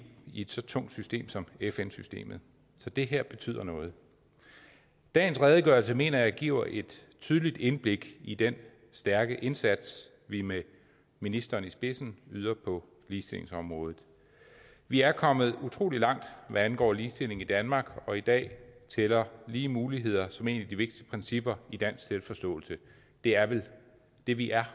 i et så tungt system som fn systemet så det her betyder noget dagens redegørelse mener jeg giver et tydeligt indblik i den stærke indsats vi med ministeren i spidsen yder på ligestillingsområdet vi er kommet utrolig langt hvad angår ligestilling i danmark og i dag tæller lige muligheder som et af de vigtigste principper i dansk selvforståelse det er vel det vi er